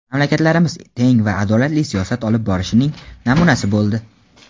Mamlakatlarimiz teng va adolatli siyosat olib borishning namunasi bo‘ldi.